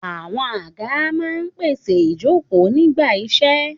Àwọn àga máa ń pèsè ìjókòó nígbà iṣẹ́.